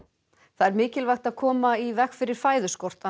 það er mikilvægt að koma í veg fyrir fæðuskort